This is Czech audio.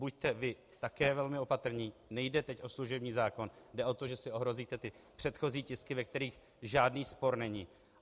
Buďte vy také velmi opatrní, nejde teď o služební zákon, jde o to, že si ohrozíte ty předchozí tisky, ve kterých žádný spor není.